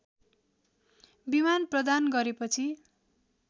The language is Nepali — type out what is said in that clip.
विमान प्रदान गरेपछि